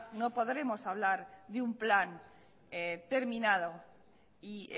no podremos hablar de un plan terminado y